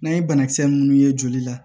N'an ye banakisɛ munnu ye joli la